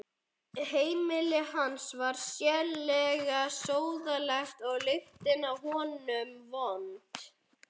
Heimili hans var sérlega sóðalegt og lyktin af honum vond.